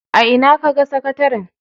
A ina kaga sakataren?